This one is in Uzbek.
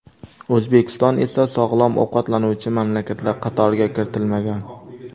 O‘zbekiston esa sog‘lom ovqatlanuvchi mamlakatlar qatoriga kiritilmagan.